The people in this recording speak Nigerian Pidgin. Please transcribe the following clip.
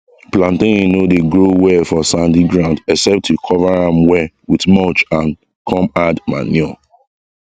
plantain no dey grow well for sandy ground except you cover am well with mulch and come add manure